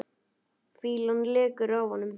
Fýlan lekur af honum.